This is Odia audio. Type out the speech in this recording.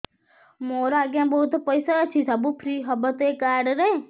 ମୋର ଆଜ୍ଞା ବହୁତ ପଇସା ଅଛି ସବୁ ଫ୍ରି ହବ ତ ଏ କାର୍ଡ ରେ